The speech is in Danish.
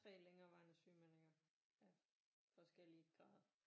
3 længerevarende sygemeldinger af forskellige grader